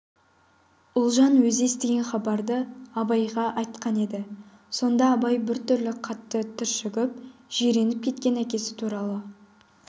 ұлжан өзі естіген хабарды абайға айтқан еді сонда абай біртүрлі қатты түршігіп жиреніп кеткен әкесі туралы